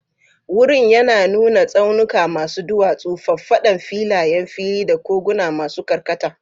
Wurin yana nuna tsaunuka masu duwatsu, faffadan filayen fili, da koguna masu karkata.